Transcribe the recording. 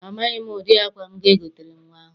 Amaghị m ụdị akwa m ga-egotere nnwa ahụ.